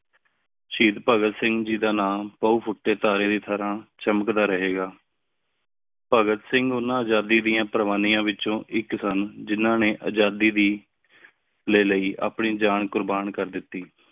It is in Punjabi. ਸਹੀਦ ਭਗਤ ਸਿੰਘ ਜੀ ਦਾ ਨਾਮ ਬੋਹਤ ਬਹੁ ਫੂਟੇ ਤਾਰੇ ਦੀ ਤਰ੍ਹਾ ਚਮਕਦਾ ਰਹੇਗਾ। ਭਗਤ ਸਿੰਘ ਓਹਨਾ ਆਜ਼ਾਦੀ ਦਿਯਾਂ ਪਰ੍ਵਾਨਿਯਾਂ ਏਚੋੰ ਇਕ ਸੰਨ ਜਿਨ੍ਹਾਂ ਨੇ ਆਜ਼ਾਦੀ ਦੀ ਲੀ ਲੈ ਆਪਣੀ ਜਾਂ ਕੁਰਬਾਨ ਕਰ ਦਿਤੀ।